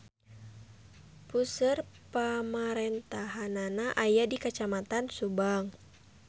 Puseur pamarentahannana aya di Kacamatan Subang.